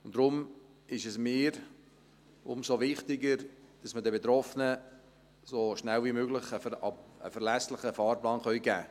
Deshalb ist es mir umso wichtiger, dass wir den Betroffenen so schnell wie möglich einen verlässlichen Fahrplan geben können.